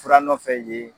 Fura nɔfɛ ye